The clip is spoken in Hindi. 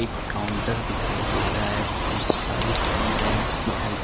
एक काउंटर दिखाई दे रहा है कुछ सारी रैंक्स दिखाई --